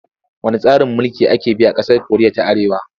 Wanne tsarin mulki ake bi a ƙasar Koriya ta Arewa?